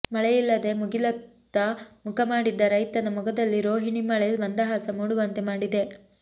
ಮಳೆಯಿಲ್ಲದೆ ಮುಗಿಲತ್ತ ಮುಖ ಮಾಡಿದ್ದ ರೈತನ ಮೊಗದಲ್ಲಿ ರೋಹಿಣಿ ಮಳೆ ಮಂದಹಾಸ ಮೂಡುವಂತೆ ಮಾಡಿದೆ